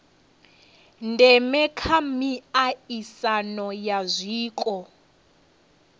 ndeme kha miaisano ya zwiko